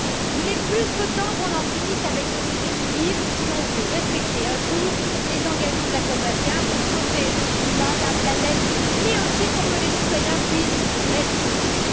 Il est plus que temps qu'on en finisse avec ce déséquilibre si l'on veut respecter un jour les engagements de la COP 21 pour sauver le climat et la planète, mais aussi pour que les citoyens puissent respirer.